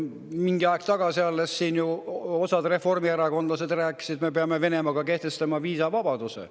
Mingi aeg tagasi siin osa reformierakondlasi ju alles rääkis, et me peame kehtestama Venemaaga viisavabaduse.